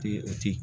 Ti o ti